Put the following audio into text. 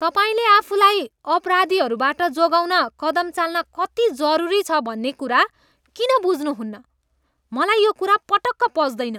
तपाईँले आफूलाई अपराधीहरूबाट जोगाउन कदम चाल्न कति जरुरी छ भन्ने कुरा किन बुझ्नुहुन्न? मलाई यो कुरा पटक्क पच्दैन।